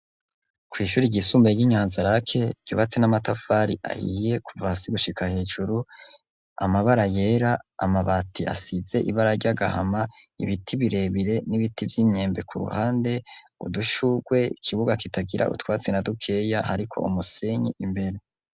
Kw'ishuri ryisumbuye ry'i Nyanza-Lac ryubatse n'amatafari ahiye kuva hasi gushika hejuru amabara yera amabati asize ibara ry'agahama ibiti birebire n'ibiti by'imyembe ku ruhande udushurwe kibuga kitagira utwatsi na dukeya hariko umusenyi imbere.